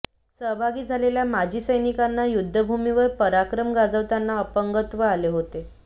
सहभागी झालेल्या माजी सैनिकांना युद्धभूमीवर पराक्रम गाजवताना अपंगत्व आले होते